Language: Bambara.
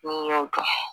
N'i y'o dun